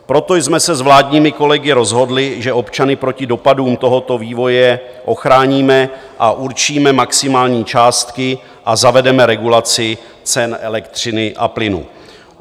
Proto jsme se s vládními kolegy rozhodli, že občany proti dopadům tohoto vývoje ochráníme a určíme maximální částky a zavedeme regulaci cen elektřiny a plynu.